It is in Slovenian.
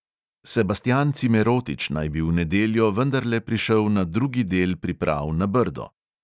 Sebastjan cimerotič naj bi v nedeljo vendarle prišel na drugi del priprav na brdo!